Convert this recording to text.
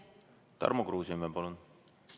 Tarmo Kruusimäe, palun!